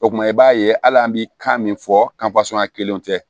O kuma i b'a ye hali an bɛ kan min fɔ kelenw tɛ